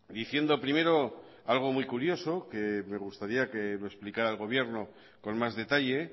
diciendo primero algo muy curioso que me gustaría que lo explicara el gobierno con más detalle